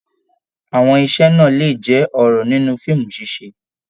Àwọn ise náà lè jẹ ọrọ nínú fíìmù ṣiṣe.